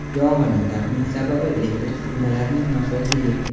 Yong‘inning taxminiy sababi elektr uskunalarining nosozligi.